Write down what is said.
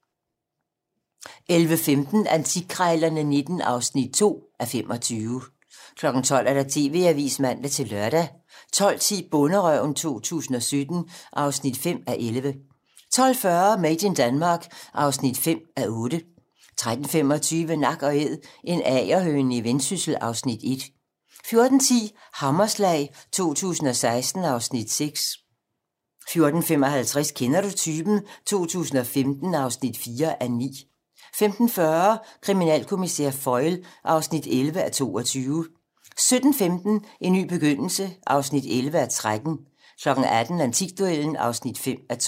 11:15: Antikkrejlerne XIX (2:25) 12:00: TV-Avisen (man-lør) 12:10: Bonderøven 2017 (5:11) 12:40: Made in Denmark (5:8) 13:25: Nak & Æd - en agerhøne i Vendsyssel (Afs. 1) 14:10: Hammerslag 2016 (Afs. 6) 14:55: Kender du typen? 2015 (4:9) 15:40: Kriminalkommissær Foyle (11:22) 17:15: En ny begyndelse (11:13) 18:00: Antikduellen (5:12)